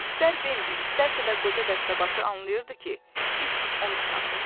İstər Bembi, istərsə də qoca dəstəbaşı anlayırdı ki, it onu çağırır.